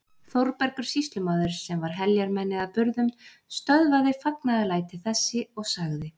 Þórbergur sýslumaður, sem var heljarmenni að burðum, stöðvaði fagnaðarlæti þessi og sagði